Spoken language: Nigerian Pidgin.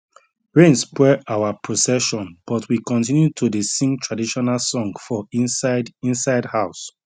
rain spoil our procession but we continue to dey sing traditional song for inside inside house